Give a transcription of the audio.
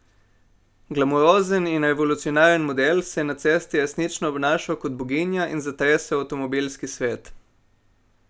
Glamurozen in revolucionaren model se je na cesti resnično obnašal kot boginja in zatresel avtomobilski svet.